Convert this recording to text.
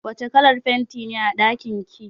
Wace kalar fenti ne a ɗakin ki?